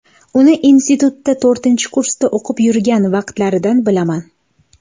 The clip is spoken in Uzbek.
Uni institutda to‘rtinchi kursda o‘qib yurgan vaqtlaridan bilaman.